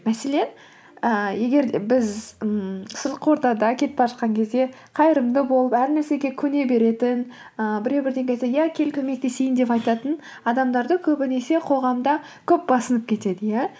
мәселен ііі егер де біз ммм сыртқы ортада кетіп бара жатқан кезде қайырымды болып әр нәрсеге көне беретін ііі біреу бірдеңе айтса иә кел көмектесейін деп айтатын адамдарды көбінесе қоғамда көп басынып кетеді иә